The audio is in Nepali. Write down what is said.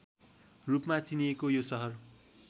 रूपमा चिनिएको यो सहर